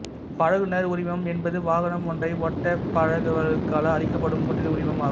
பழகுநர் உரிமம் என்பது வாகனம் ஒன்றை ஓட்டப் பழகுபவர்களுக்காக அளிக்கப்படும் ஓட்டுனர் உரிமம் ஆகும்